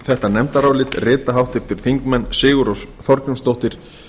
þetta nefndarálit rita háttvirtir þingmenn sigurrós þorgrímsdóttir